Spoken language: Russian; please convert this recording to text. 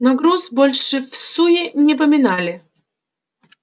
но груз больше всуе не поминали